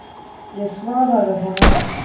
Ég svaraði honum ekki.